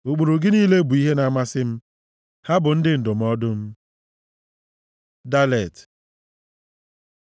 Ụkpụrụ gị niile bụ ihe na-amasị m; ha bụ ndị ndụmọdụ m. ד Dalet